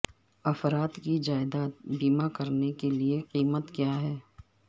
افراد کی جائیداد بیمہ کرنے کے لئے قیمت کیا ہے